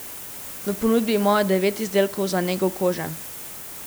V ponudbi imajo devet izdelkov za nego kože.